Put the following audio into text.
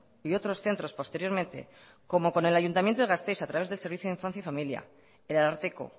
y otros centros posteriormente como con el ayuntamiento de gasteiz a través del servicio de infancia y familia el ararteko